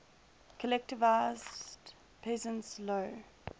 collectivized peasants low